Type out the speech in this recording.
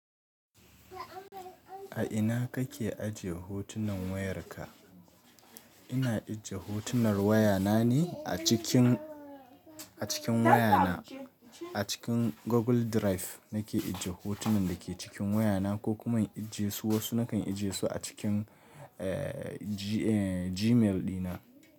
A ina kake ajiye hotunan wayarka? Ina ajiye hotunan wayana ne a cikin, a cikin wayana. A cikin Google Drive nake ajiye hotunan da ke cikin wayana, ko kuma in ajiye su wasu nakan ajiye su a cikin, eh, eh, Gmail dina.